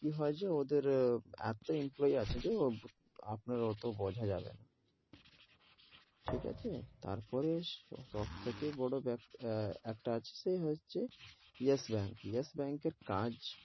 কি হয় যে ওদের এতো employee আছে যে আপনার অটো বোঝা যাবে না ঠিক আছে, তার পরে সব থেকে বে~ এ একটা আছে হচ্ছে যেস ব্যাঙ্ক যেস ব্যাঙ্কের কাজ,